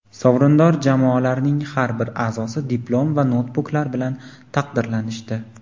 Sovrindor jamoalarning har bir a’zosi diplom va noutbuklar bilan taqdirlanishdi.